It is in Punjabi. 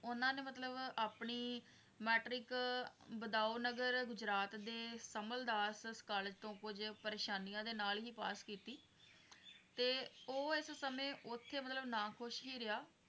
ਉਹਨਾਂ ਨੇ ਮਤਲੱਬ ਆਪਣੀ metric ਬਦਾਉਨਗਾਰ ਗੁਜਰਾਤ ਦੇ ਕਮਲਦਾਸ ਕਾਲਜ਼ ਤੋਂ ਕੁੱਝ ਪਰੇਸ਼ਾਨੀਆਂ ਦੇ ਨਾਲ ਹੀ ਪਾਸ ਕੀਤੀ ਤੇ ਉਹ ਇਸ ਸਮੇਂ ਉੱਥੇ ਮਤਲੱਬ ਨਾਖੁਸ਼ ਹੀ ਰਿਹਾ